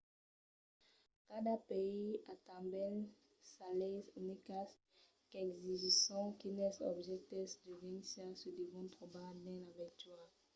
cada país a tanben sas leis unicas qu'exigisson quines objèctes d'urgéncia se devon trobar dins la veitura